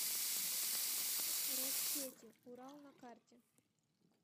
россети урал на карте